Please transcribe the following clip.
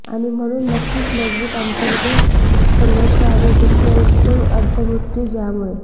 आणि म्हणून नक्कीच मजबूत अंतर्गत संघर्ष आणि दुखः एक खोल अर्थ मृत्यू ज्यामुळे